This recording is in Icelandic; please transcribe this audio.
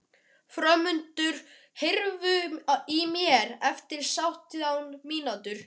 Hrómundur, heyrðu í mér eftir sautján mínútur.